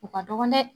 U ka dɔgɔn dɛ